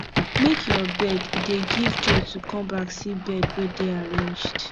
make your bed e dey give joy to come back see bed wey dey arranged